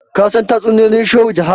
ka san tatsuniyoyin shehu jaha?